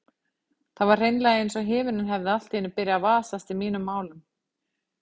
Það var hreinlega einsog himinninn hefði allt í einu byrjað að vasast í mínum málum.